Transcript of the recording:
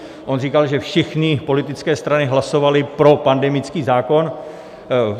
On říkal, že všechny politické strany hlasovaly pro pandemický zákon.